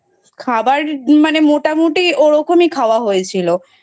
খাবার মানে মোটামোটি ওরকমই খাওয়া হয়েছিল।